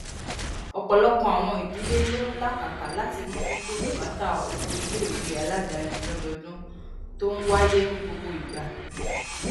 wón gbódò lè ṣàyèwò àwọn ìsọfúnni kí wón sì mọ àwọn ohun tó lè ran ilé